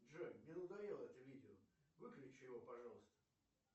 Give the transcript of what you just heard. джой мне надоело это видео выключи его пожалуйста